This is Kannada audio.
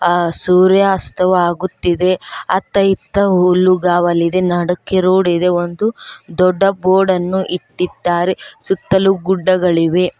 ಆ ಸೂರ್ಯಾಸ್ತವಾಗುತ್ತಿದೆ ಅತ್ತ ಇತ್ತ ಹುಲ್ಲುಗಾವಲಿದೆ ನಡುಕ್ಕೆ ರೋಡಿದೆ ಒಂದು ದೊಡ್ಡ ಬೋರ್ಡನ್ನು ಇಟ್ಟಿದ್ದಾರೆ ಸುತ್ತಲೂ ಗುಡ್ಡಗಳಿವೆ.